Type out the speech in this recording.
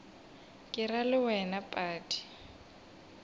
ke ra le wena padi